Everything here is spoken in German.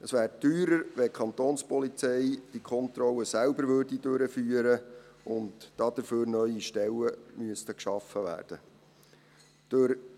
Es wäre teurer, wenn die Kapo diese Kontrollen selbst durchführte und dazu neue Stellen geschaffen werden müssten.